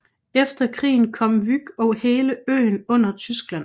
Efter krigen kom Vyk og hele øen under Tyskland